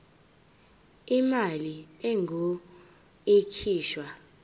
imali engur ikhishwa